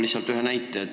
Ma toon ühe näite.